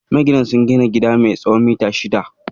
Maginan sun gina gida mai tsawon mita shida